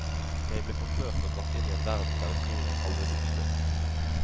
Jeg ble forført og brakt inn i en verden der historien aldri tok slutt.